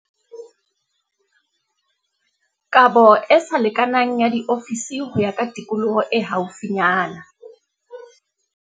Kabo e sa lekanang ya diofisi ho ya ka tikoloho e haufinyana.